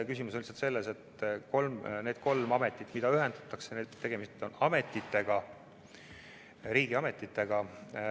Küsimus on lihtsalt selles, et need kolm ametit, mis ühendatakse, on riigiametid.